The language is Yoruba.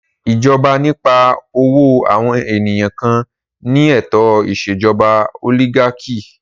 Ìjọba nípa ọ̀wọ́ àwọn ènìyàn kan ni ètò ìṣèjọba òlígákì.